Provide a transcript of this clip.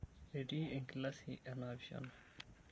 Etii enkilasi e naapishana.